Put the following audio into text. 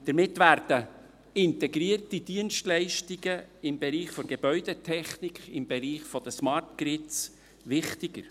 Damit werden integrierte Dienstleistungen im Bereich der Gebäudetechnik, im Bereich der Smart Grids wichtiger.